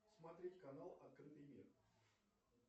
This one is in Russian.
смотреть канал открытый мир